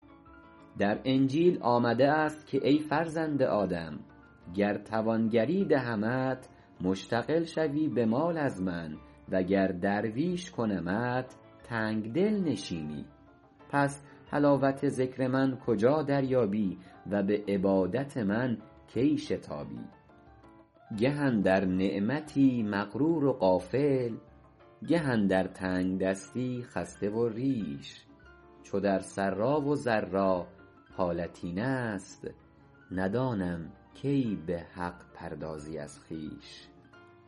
در انجیل آمده است که ای فرزند آدم گر توانگری دهمت مشتغل شوی به مال از من و گر درویش کنمت تنگدل نشینی پس حلاوت ذکر من کجا دریابی و به عبادت من کی شتابی گه اندر نعمتی مغرور و غافل گه اندر تنگدستی خسته و ریش چو در سرا و ضرا حالت این است ندانم کی به حق پردازی از خویش